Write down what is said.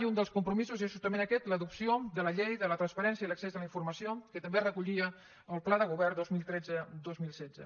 i un dels compromisos és justament aquest l’adopció de la llei de la transparència i l’accés a la informació que també recollia el pla de govern dos mil tretze dos mil setze